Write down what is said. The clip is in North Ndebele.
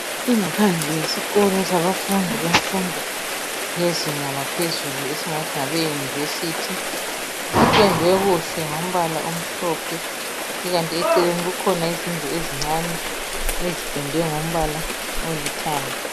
Ingaphandle yesikolo sabafundi bemfundo yezinga laphezulu esingathi ngabe university ipendwe kuhle ngombala omhlophe ikanti eceleni okulezindlu ezincane ezipendwe ngombala olithanga.